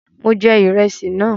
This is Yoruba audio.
Mọ jẹ ìrẹsì náà.